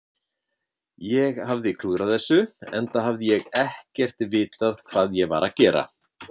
Ég hafði klúðrað þessu, enda hafði ég ekkert vitað hvað ég var að gera.